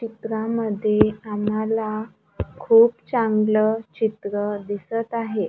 चित्रांमध्ये आम्हाला खूप चांगलं चित्र दिसतं आहे.